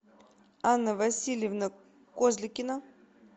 анна васильевна козликина